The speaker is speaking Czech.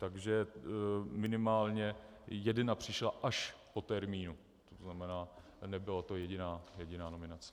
Takže minimálně jedna přišla až po termínu, to znamená, nebyla to jediná nominace.